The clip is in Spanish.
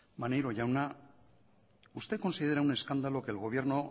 maneiro jauna usted considera un escándalo que el gobierno